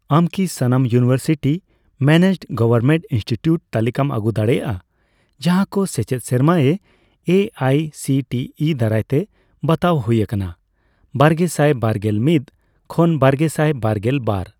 ᱟᱢ ᱠᱤ ᱥᱟᱱᱟᱢ ᱤᱭᱩᱱᱤᱣᱮᱨᱥᱤᱴᱤ ᱢᱮᱱᱮᱡᱰᱼᱜᱚᱣᱚᱨᱢᱮᱱᱴ ᱤᱱᱥᱴᱤᱴᱤᱭᱩᱴ ᱛᱟᱞᱤᱠᱟᱢ ᱟᱹᱜᱩ ᱫᱟᱲᱮᱭᱟᱜᱼᱟ ᱡᱟᱦᱟᱸᱠᱚ ᱥᱮᱪᱮᱫ ᱥᱮᱨᱢᱟᱨᱮ A I C T E ᱫᱟᱨᱟᱭᱛᱮ ᱵᱟᱛᱟᱣ ᱦᱩᱭ ᱟᱠᱟᱱᱟ ᱵᱟᱨᱜᱮᱥᱟᱭ ᱵᱟᱨᱜᱮᱞ ᱢᱤᱛ ᱠᱷᱚᱱ ᱵᱟᱨᱜᱮᱥᱟᱭ ᱵᱟᱨᱜᱮᱞ ᱵᱟᱨ ?